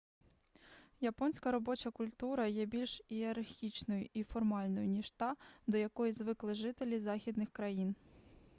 японська робоча культура є більш ієрархічною і формальною ніж та до якої звикли жителі західних країн